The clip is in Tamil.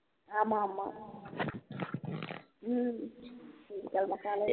ஆமா ஆமா உம் திங்கட்கிழமை காலையில